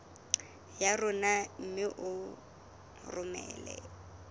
ya rona mme o romele